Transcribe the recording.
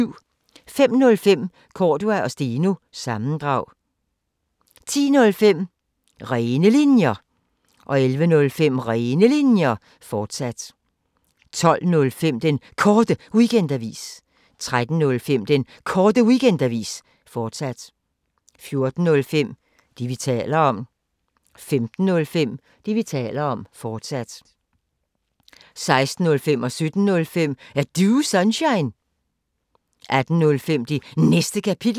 05:05: Cordua & Steno – sammendrag 10:05: Rene Linjer 11:05: Rene Linjer, fortsat 12:05: Den Korte Weekendavis 13:05: Den Korte Weekendavis, fortsat 14:05: Det, vi taler om 15:05: Det, vi taler om, fortsat 16:05: Er Du Sunshine? 17:05: Er Du Sunshine? 18:05: Det Næste Kapitel